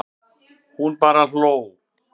Hún bara hló.